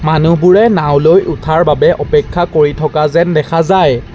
মানুহবোৰে নাও লৈ উঠাৰ বাবে অপেক্ষা কৰি থকা যেন দেখা যায়।